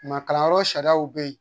Maa kalanyɔrɔ sariyaw bɛ yen